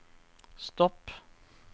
stopp